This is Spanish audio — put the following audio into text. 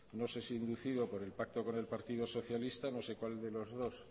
no sé si inducido por el pacto con el partido socialista no sé cuál de los dos